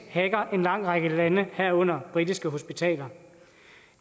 har en lang række lande herunder britiske hospitaler